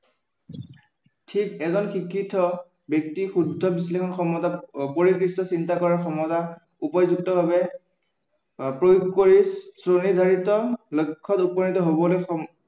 ঠিক, এজন শিক্ষিত ব্য়ক্তি শুদ্ধ বিশ্লেষণ ক্ষমতাত চিন্তাধাৰাৰ ক্ষমতা উপযুক্তভাৱে প্ৰয়োগ কৰি স্ব-নিৰ্ধাৰিত লক্ষ্য়ত উপনীত হবলৈ